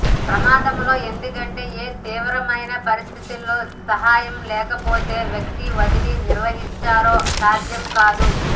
ప్రమాదంలో ఎందుకంటే ఏ తీవ్రమైన పరిస్థితులలో సహాయం లేకపొతే వ్యక్తి వదిలి నిర్వహించారు సాధ్యం కాదు